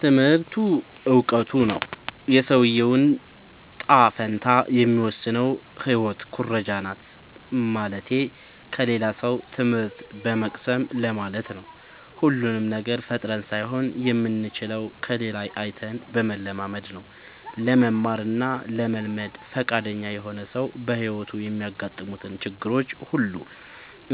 ትምህርቱ እውቀቱ ነው። የሰውዬውን ጣፈንታ የሚወስነው ህይወት ኩረጃናት ማለትቴ ከሌላ ሰው ትምህት በመቅሰም ለማለት ነው። ሁሉንም ነገር ፈጥረን ሳይሆን የምንችለው ከሌላ አይተን በመለማመድ ነው። ለመማር እና ለመልመድ ፍቃደኛ የሆነ ሰው በህይወቱ የሚያጋጥሙትን ችግሮች ሁሉ